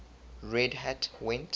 red hat went